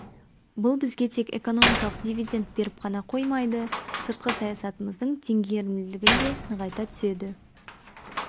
бұл бізге тек экономикалық дивиденд беріп қана қоймайды сыртқы саясатымыздың теңгерімділігін де нығайта түседі